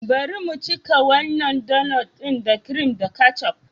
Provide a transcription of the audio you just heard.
Bari mu cika wannan donut ɗin da kirim da ketchup.